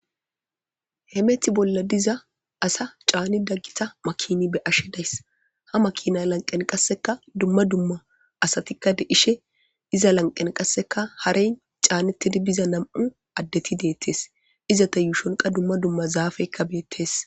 Hemethi bolla diza asa caanida gita makina be'ashe days ha makina lanqqen qasseka dumma dumma asatikka de'ishe iza lanqenka qasse haren caanetidi biza nam'u addeti de'etes izeta yuushonka dumma dumma zaafeyka bettees.